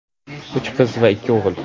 uch qiz va ikki o‘g‘il.